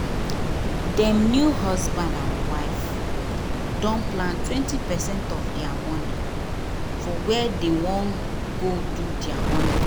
dem new husband and wife don plan 20 percent of dia money for where dey wan go do dia honeymoon.